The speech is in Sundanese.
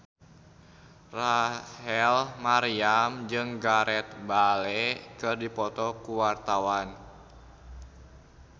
Rachel Maryam jeung Gareth Bale keur dipoto ku wartawan